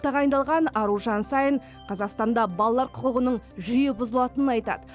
тағайындалған аружан саин қазақстанда балалар құқығының жиі бұзылатынын айтады